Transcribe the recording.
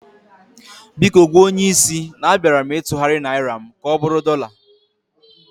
Biko gwa onyé isi na a bịara m ịtugharị Naịra m ka ọbụrụ dọla